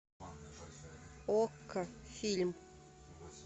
окко фильм